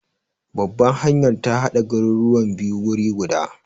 Babbar hanyar ta hada garuruwan biyu wuri guda.